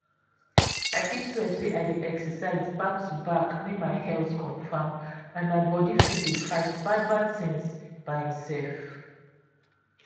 i fit swear say i dey exercise back to back make my health confam and my body fit dey fight bad bad things by imsef.